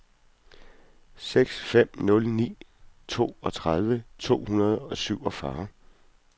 seks fem nul ni toogtredive to hundrede og syvogfyrre